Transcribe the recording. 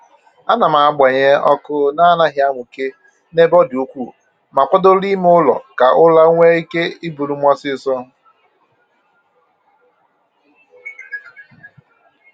Ana m agbanye ọkụ na anaghị amụke n'ebe ọdị ukwuu, ma kwadoro ime ụlọ ka ụra nwee ike iburu m ọsịịso